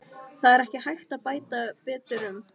Það er ekki hægt að bæta um betur.